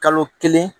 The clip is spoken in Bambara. Kalo kelen